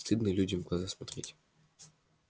стыдно людям в глаза смотреть